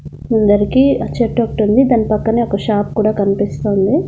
అందరికీ ఆ చెట్టోకటుంది దాని పక్కనే ఒక షాప్ కూడా కనిపిస్తోంది.